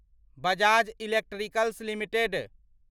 Bajaj Electricals limited